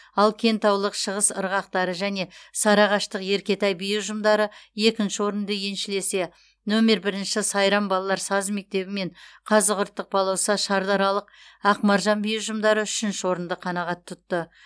ал кентаулық шығыс ырғақтары және сарыағаштық еркетай би ұжымдары екінші орынды еншілесе нөмер бірінші сайрам балалар саз мектебі мен қазығұрттық балауса шардаралық ақмаржан би ұжымдары үшінші орынды қанағат тұтты